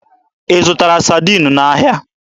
Ị zụtara Sadiin n'ahịa?